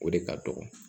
O de ka dɔgɔ